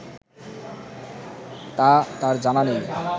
তা তার জানা নেই